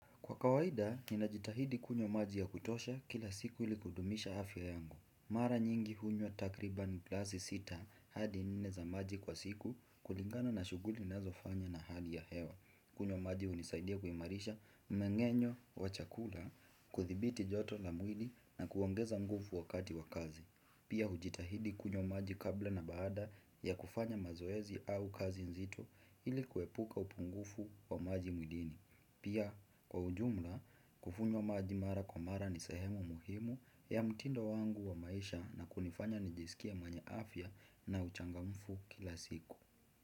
Kwa kawaida, ninajitahidi kunywa maji ya kutosha kila siku ili kudumisha afya yangu. Mara nyingi hunywa takriban glasi sita hadi nine za maji kwa siku kulingana na shuguli ninazofanya na hali ya hewa. Kunywa maji unisaidia kuimarisha mnegenyo wa chakula, kuthibiti joto la mwili na kuongeza nguvu wakati wa kazi. Pia hujitahidi kunywa maji kabla na baada ya kufanya mazoezi au kazi nzito ili kuepuka upungufu wa maji mwilini. Pia kwa ujumla kukunywa maji mara kwa mara ni sahemu muhimu ya mtindo wangu wa maisha na kunifanya nijisikia mwenye afya na uchangamfu kila siku.